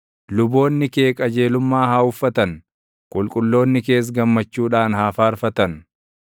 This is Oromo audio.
Luboonni kee qajeelummaa haa uffatan; qulqulloonni kees gammachuudhaan haa faarfatan.’ ”